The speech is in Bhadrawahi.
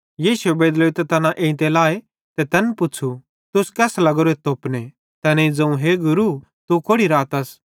यीशुए बेदलोइतां तैना एइते लाए ते तैन पुच्छ़ू तुस केस लगोरेथ तोपने तैनेईं ज़ोवं हे गुरू तू कोड़ि रातस